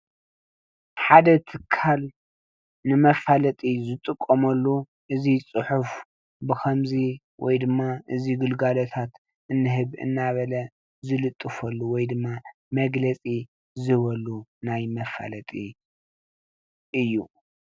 ሓደ ትካል ንመፋለጢ ዝጥቀመሉ እዚ ጽሑፍ ብከምዚ ወይ ድማ እዚ ግልጋሎታት እንህብ እናበለ ዝልጥፈሉ ወይድማ መግለጺ ዝህበሉ ናይ መፋለጢ እዩ።